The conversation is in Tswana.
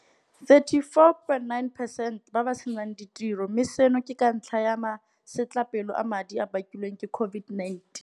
34.9 percent ba ba senang ditiro, mme seno ke ka ntlha ya masetlapelo a madi a a bakilweng ke COVID-19.